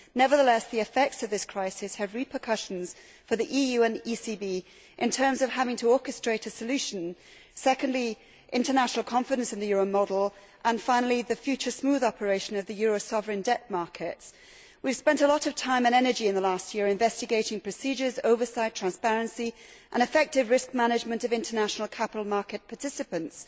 Nevertheless, the effects of this crisis have repercussions for the EU and the ECB in terms of having to orchestrate a solution, international confidence in the euro model and the future smooth operation of the euro sovereign debt markets. We have spent a lot of time and energy in the last year investigating procedures, oversight, transparency and effective risk management of international capital market participants.